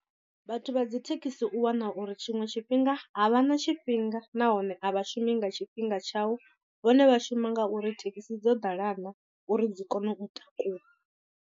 Vhathu vha dzi thekhisi u wana uri tshiṅwe tshifhinga a vha na tshifhinga nahone a vha shumi nga tshifhinga tshau vhone vha shuma ngauri thekhisi dzo ḓala naa uri dzi kone u takuwa.